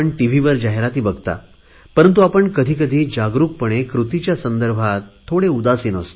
वर जाहिराती बघता परंतु आपण कधी कधी कृतीच्या संदर्भात थोडे उदासिन असतो